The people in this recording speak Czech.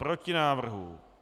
Proti návrhu.